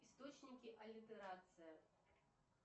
источники аллитерации